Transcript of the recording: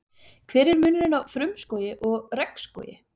Hver er munurinn á frumskógi og regnskógi?